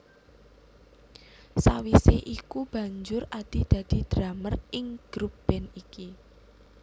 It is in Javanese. Sawise iku banjur Adi dadi drummer ing grup band iki